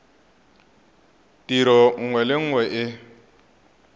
tiro nngwe le nngwe e